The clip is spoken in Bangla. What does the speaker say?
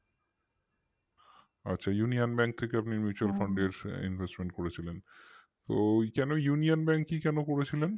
আচ্ছা Union Bank থেকে আপনি mutual fund র investment করেছিলেন তো কেন Union Bank কি কেন করেছিলেন?